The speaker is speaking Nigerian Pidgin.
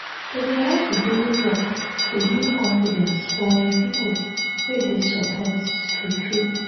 to dey help with daily work dey build confidence for um people wey dey support true true.